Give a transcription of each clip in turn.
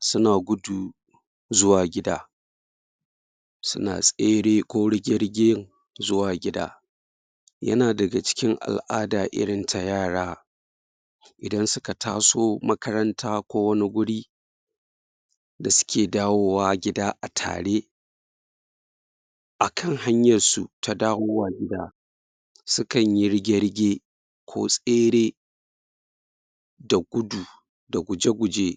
Suna gudu zuwa gida. Suna tsere, ko rige-rige zuwa gida. Yan daga cikin al'ada irin ta yara, idan suka taso makaranta ko wani guri, da suke dawowa gida a tare, a kan hanyar su ta dawowa gida, sukan yi rige-rige, ko tsere,? da guje-guje,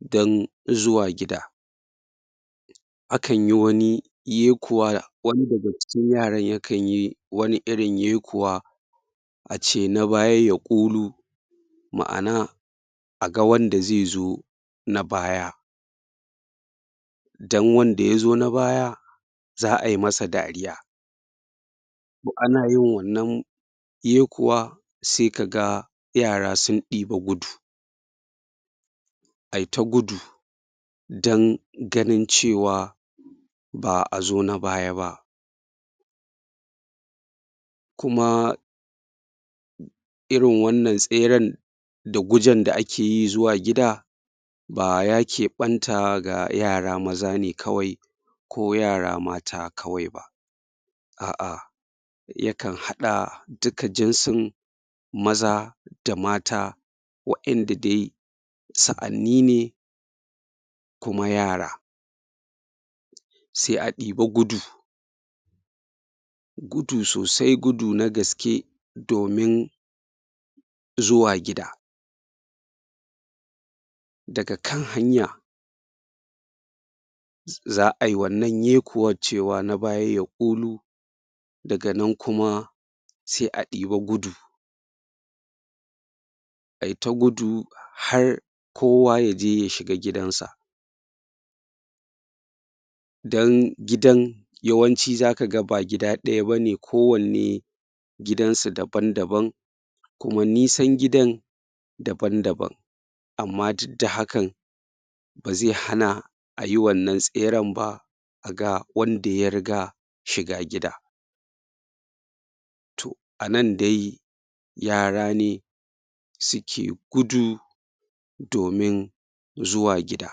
don zuwa gida. A kan yi wani yekuwa, wani daga cikin yaran yakan yi wani irin yekuwa, a ce na baya ya ƙulu. Ma'ana, a ga wanda zai zo na baya. Don wanda yazo na baya, za ayi masa dariya. To, ana yin wannan yekuwa, sai kaga yara sun ɗiba gudu. Ayi ta gudu, dan ganin cewa ba a zo nabaya ba. Kuma irin wannan tseren da gujen da akeyi zuwa gida, ba ya keɓanta ga yara maza ne kawai ko yara mata kawai ba, a'a, yakan haɗa duka jinsin maza da mata, wa'inda dai sa'anni ne, kuma yara. Sai a ɗiba gudu, gudu sosai, gudu na gaskeh, domin zuwa gida. Daga kan hanya, za ayi wannan yekuwar cewa na baya ya ƙulu, daga nan kuma sai a ɗiba gudu, ayi ta gudu har kowa yaje ya shiga giidan sa. Don gidan yawanci zaka ga ba gid ɗaya bane, ko wanne gidan su daban-daban, kuma nisan gidan daban-daban. Amma duk da hakan, ba zai hana ayi wannan tseren ba, a ga wanda ya riga shiga gida. To, a nan dai yara ne suke gudu, domin zuwa gida.